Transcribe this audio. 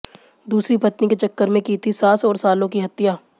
दूसरी पत्नी के चक्कर में की थी सास और सालों की हत्या